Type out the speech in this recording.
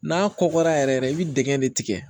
N'a kɔkɔra yɛrɛ yɛrɛ i bɛ dɛgɛ de tigɛ